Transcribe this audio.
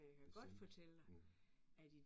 Bestemt, mh